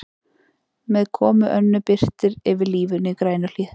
Með komu Önnu birtir yfir lífinu í Grænuhlíð.